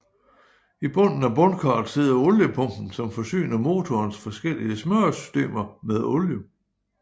I bunden af bundkarret sidder oliepumpen som forsyner motorens forskellige smøresystemer med olie